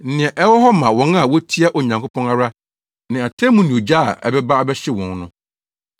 Nea ɛwɔ hɔ ma wɔn a wotia Onyankopɔn ara ne atemmu ne ogya a ɛbɛba abɛhyew wɔn no.